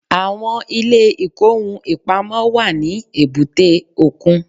Àwọn ilé ìkóhun-ìpamọ́ wà ní èbúté òkun